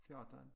14